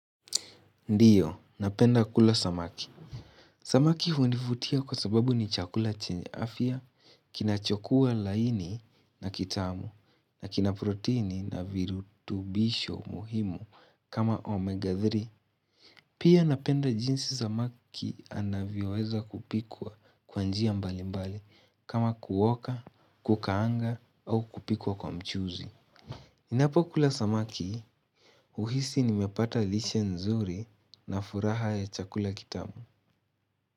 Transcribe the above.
Ndiyo, napenda kula samaki. Samaki hunifutia kwa sababu ni chakula chenye afia, kinachokua laini na kitamu, na kina proteini na virutubisho muhimu kama omega 3. Pia napenda jinsi samaki anavyoeza kupikwa kwanjia mbali mbali kama kuoka, kukaanga au kupikwa kwa mchuzi. Ninapokula samaki, uhisi nimepata lishe nzuri na furaha ya chakula kitamu.